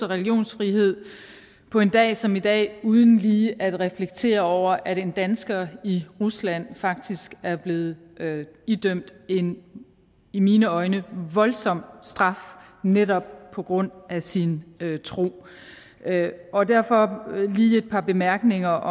religionsfrihed på en dag som i dag uden lige at reflektere over at en dansker i rusland faktisk er blevet idømt en i mine øjne voldsom straf netop på grund af sin tro og derfor lige et par bemærkninger